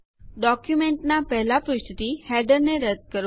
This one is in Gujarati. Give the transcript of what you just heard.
ડોક્યુંમેન્ટનાં પહેલા પુષ્ઠથી હેડરને રદ્દ કરો